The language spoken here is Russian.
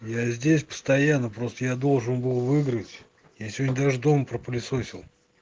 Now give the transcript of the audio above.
я здесь постоянно просто я должен был выиграть я сегодня даже дома пропылесосил